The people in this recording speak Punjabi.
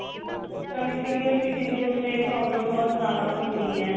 ਨਾਲੇ senior citizen ਨੂੰ ਤਾਂ ਇਹ problem ਬਹੁਤ ਜਿਆਦਾ ਹੁੰਦੀ ਏ.